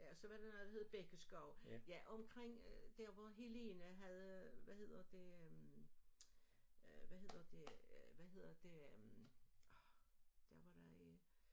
Ja og så var der noget der hed Bækkeskov ja omkring der hvor Helene havde hvad hedder det øh hvad hedder det hvad hedder det øh der hvor der øh